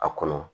A kɔnɔ